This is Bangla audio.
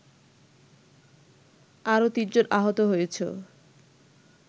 আরো তিনজন আহত হয়েছ